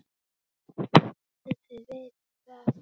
En þið vitið það.